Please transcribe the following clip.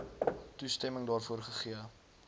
toestemming daarvoor gegee